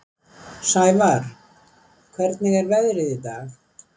Sævarr, hvernig er veðrið í dag?